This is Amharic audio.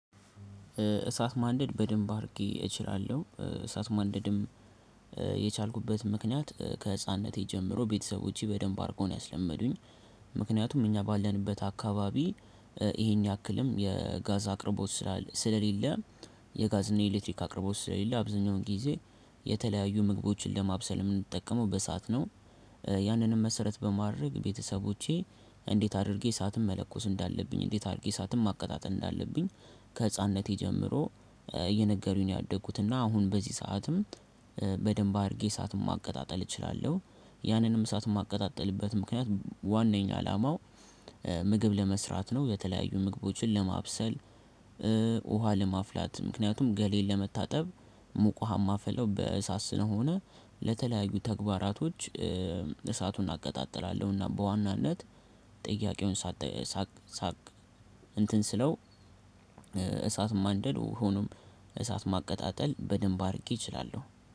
እሳት ማንደድ በደንብ አድርጌ እችላለሁ እሳት ማንደድም የቻልኩበት ምክንያት ከህፃንነቴ ጀምሮ ቤተሰቦቼ በደንብ አድርገው ነው ያስለመዱኝ። ምክንያቱም እኛ ባለንበት አካባቢ ይሄን ያክልም የጋዝ አቅርቦት ስላለ ስለሌለ የጋዝ እና የኤሌክትሪክ አቅርቦት ስለሌለ አብዛኛውን ጊዜ የተለያዩ ምግቦችን ለማብሰል የምንጠቀመው በሳአት ነው። ያንንም መሰረት በማድረግ ቤተሰቦቼ እንዴት አድርጌ እሳትም መለኮስ እንዳለብኝ እንዴት አድርጌ እሳትም ማቀጣጠል እንዳለብኝ። ከህፃንነቴ ጀምሮ እየነገሩኝ ነው ያደጉት። እና አሁን በዚህ ሰዓትም በደንብ አድርጌ እሳትም ማቀጣጠል እችላለሁ። ያንንም እሳት የማቀጣጥልበት ምክንያት ዋናኛ አላማው ምግብ ለመስራት ነው። የተለያዩ ምግቦችን ለማብሰል። ውሃ ለማፍላት ምክንያቱም ገለየን ለመታጠብ ሙቅ ሀው ማፍለው በእሳት ስነሆነ ለተለያዩ ተግባራቶች። እሳቱን አቀጣጥላለሁና በዋናነት ጥያቄውን ሳቅ ሳቅ እንትን ስለው። እሳት ማንደድ ሆኖም እሳት ማቀጣጠል በደንብ አድርጌ እችላለሁ።